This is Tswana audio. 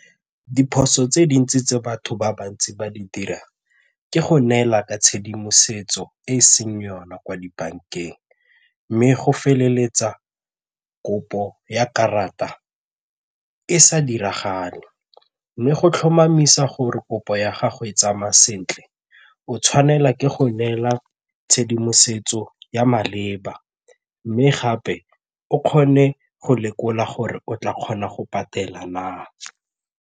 Diphoso tse dintsi tse batho ba bantsi ba di dirang ke go neela ka tshedimosetso e e seng yone kwa dibankeng mme go feleletsa kopo ya karata e sa diragale mme go tlhomamisa gore kopo ya gago e tsamaya sentle o tshwanela ke go neela tshedimosetso ya maleba mme gape o kgone go lekola gore o tla kgona go patela na.